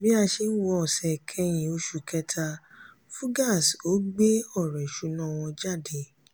bí a ṣe ń wọ ọ̀sẹ̀ ìkẹyìn oṣù kẹta fugaz ò gbé ọ̀rọ̀ ìṣúná wọn jáde.